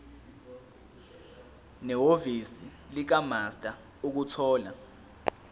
nehhovisi likamaster ukuthola